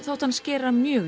þótti hann skera mjög